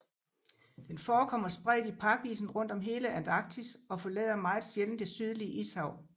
Den forekommer spredt i pakisen rundt om hele Antarktis og forlader meget sjældent det Sydlige Ishav